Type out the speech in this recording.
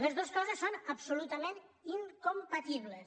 les dos coses són absolutament incompatibles